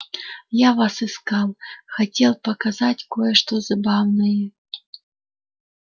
я вас искал хотел показать кое-что забавное